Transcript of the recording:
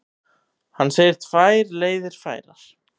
Hann segir tvær leiðir færar.